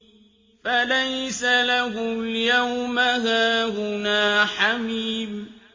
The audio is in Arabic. فَلَيْسَ لَهُ الْيَوْمَ هَاهُنَا حَمِيمٌ